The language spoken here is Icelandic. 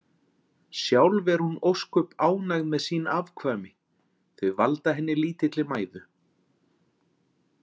Sjálf er hún ósköp ánægð með sín afkvæmi, þau valda henni lítilli mæðu.